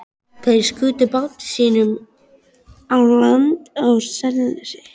Þeir skutu báti sínum á land á Selnesi.